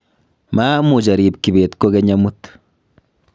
maamuch arib Kibet kokeny amut